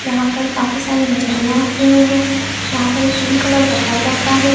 यहाँ पर काफी सारी मछलियाँ रखी हुई है यहाँ पे एक पिंक कलर का टब रखा हुआ है।